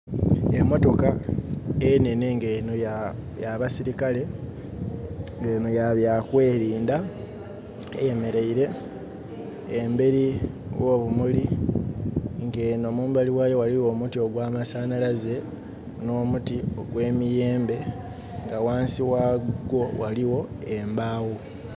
Emotoka enene nga eno ya basirikale nga eno ya byakwerinda eyemeleire emberi wo bumuli nga eno mumbali wayo waliwo omuti gwa masanalaze no muti ogwe miyembe nga wansi wagwo waliwo embaawo